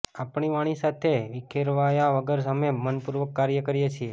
આપણી વાણી સાથે વિખેરાવ્યા વગર અમે મનપૂર્વક કાર્ય કરીએ છીએ